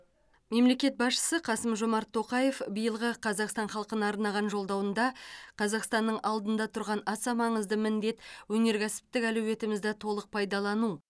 мемлекет басшысы қасым жомарт тоқаев биылғы қазақстан халқына арнаған жолдауында қазақстанның алдында тұрған аса маңызды міндет өнеркәсіптік әлеуетімізді толық пайдалану